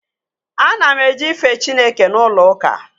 Ana m eje ife Chineke n'ụlọ ụka